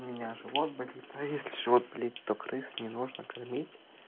у меня живот болит а если живот болит то крыс не нужно кормить